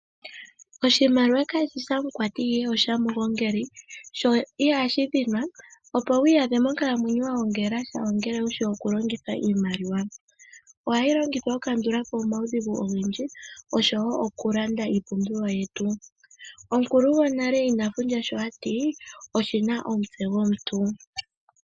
Oshimaliwa kashishi shamukwati ihe osha mugongeli sho ihashi dhinwa. Opo wi iya dhe monkalamwenyo wagongela sha ongele wushi oku longitha iimaliwa. Ohayi longithwa oku kandulapo omawudhigu ogendji oshowo oku landa iipumbiwa yetu. Omukulu gwonale ina fundja sho ati oshina omutse gwomuntu.